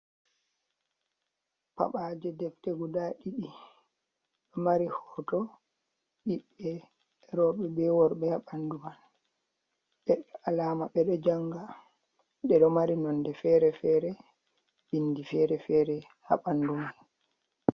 Paɓaaje debte guda ɗiɗi ɗo mari hoto ɓiɓɓe rowɓe be worɓe ha ɓandu man. Be alama ɓeɗe janga. Ɗe ɗo mari nonde fere-fere, bindi fere-fere ha ɓandu man.